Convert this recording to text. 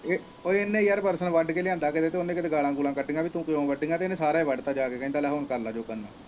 ਇਹਨੇ ਯਾਰ ਬਰਸਨ ਵੱਡ ਕੇ ਲਿਆਂਦਾ ਕਿਤੋਂ ਤੇ ਉਹਨੇ ਕਿਤੇ ਗਾਲਾਂ ਗੁਲਾਂ ਕੱਢੀਆਂ ਪੀ ਤੂੰ ਕੱਢੀਆਂ ਤੇ ਉਹਨੇ ਸਾਰਾ ਹੀ ਵੱਡ ਤਾ ਜਾ ਕੇ ਕਹਿੰਦਾ ਲੈ ਹੁਣ ਕਰ ਲੈ ਜੋ ਕਰਨਾ।